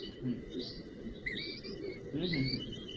হম হম হম হম